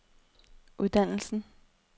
uddannelsen